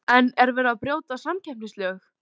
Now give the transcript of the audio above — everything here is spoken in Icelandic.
En er verið að brjóta samkeppnislög?